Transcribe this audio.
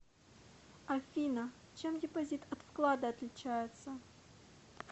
афина чем депозит от вклада отличается